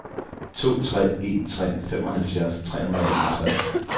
to tre en tre femoghalvfjerds tre hundrede og enogtres